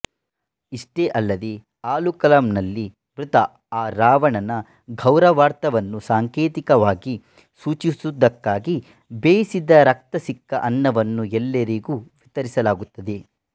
ಇಷ್ಟೇ ಅಲ್ಲದೆ ಆಲುಕಾಲಂ ನಲ್ಲಿ ಮೃತ ಅರಾವಣನ ಗೌರವಾರ್ಥವನ್ನು ಸಾಂಕೇತಿಕವಾಗಿ ಸೂಚಿಸುವುದಕ್ಕಾಗಿ ಬೇಯಿಸಿದ ರಕ್ತ ಸಿಕ್ತ ಅನ್ನವನ್ನು ಎಲ್ಲರಿಗೂ ವಿತರಿಸಲಾಗುತ್ತದೆ